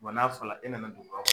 n'a fɔla e nana duguba kɔ